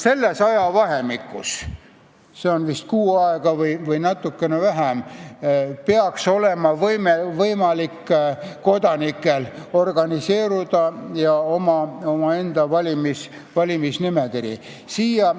Selles ajavahemikus, see on vist kuu aega või natukene vähem, peaks olema võimalik kodanikel organiseeruda ja omaenda kandidaatide nimekiri esitada.